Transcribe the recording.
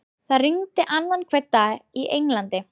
Það rignir annan hvern dag í Englandi.